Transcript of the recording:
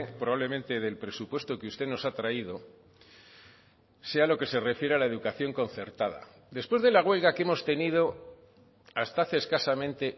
probablemente del presupuesto que usted nos ha traído sea lo que se refiere a la educación concertada después de la huelga que hemos tenido hasta hace escasamente